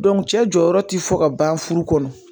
cɛ jɔyɔrɔ ti fɔ ka ban furu kɔnɔ